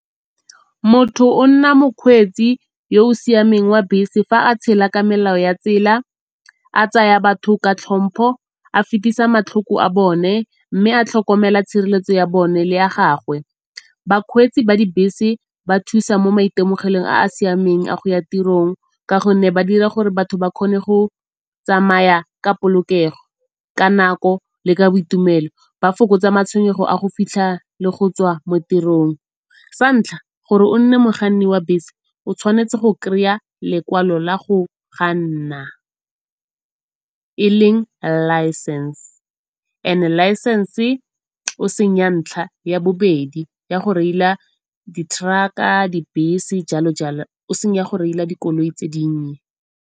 Motho o nna mokgweetsi yoo siameng wa bese fa a tshela ka melao ya tsela, a tsaya batho ka tlhompho, a fetisa matlhoko a bone mme a tlhokomela tshireletso ya bone le ya gagwe. Bakgweetsi ba dibese ba thusa mo maitemogelong a a siameng a go ya tirong ka gonne ba dira gore batho ba kgone go tsamaya ka polokego, ka nako le ka boitumelo. Ba fokotsa matshwenyego a go fitlha le go tswa mo tirong. Sa ntlha gore o nne mokganni wa bese o tshwanetse go kry-a lekwalo la go kganna e leng license and-e licence o seng ya ntlha, ya bobedi ya go reila di-truck-a, dibese, jalo jalo. E seng ya go reila dikoloi tse dinnye.